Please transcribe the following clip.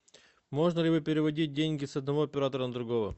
можно ли переводить деньги с одного оператора на другого